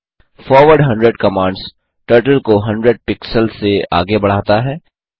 forward 100 commands turtle को 100 pixels से आगे बढ़ाता है